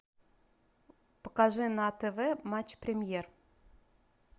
покажи на тв матч премьер